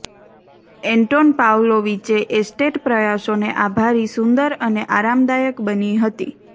Anton પાવ્લોવિચે estate પ્રયાસોને આભારી સુંદર અને આરામદાયક બની હતી